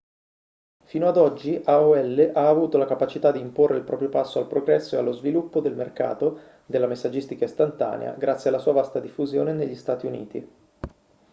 fino ad oggi aol ha avuto la capacità di imporre il proprio passo al progresso e allo sviluppo del mercato della messaggistica istantanea grazie alla sua vasta diffusione negli stati uniti